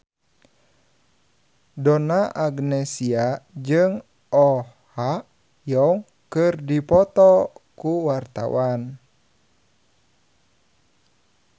Donna Agnesia jeung Oh Ha Young keur dipoto ku wartawan